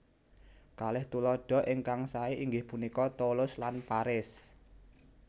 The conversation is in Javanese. Kalih tuladha ingkang saé inggih punika Toulouse lan Paris